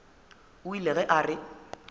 o ile ge a re